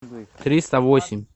триста восемь